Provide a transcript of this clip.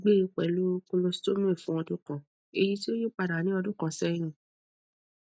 gbe pẹlu colostomy fun ọdun kan eyiti o yipada ni ọdun kan sẹyin